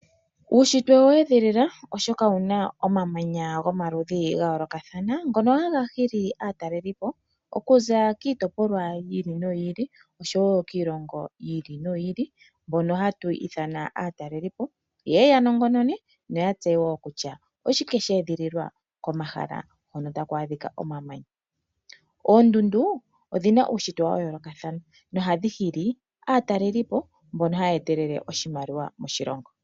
Uushitwe owa edhilila oshoka owuna omamanya gomaludhi ga yoolokathana ngoka haga gili aatalelipo okuza kiitopolwa yiili no yiili osho woo kiilongo yiili no yiili, mboka hatu ithana aatalelipo, yeye ya nongono yoya tseye shoka sha edhililwa komahala hoka kuna omamanya mpika tapu adhika omamanya. Oondundu odhina uushitwe wa yoolokathana hawu nana aatalelipo, yo taya eta oshimaliwa moshilongo.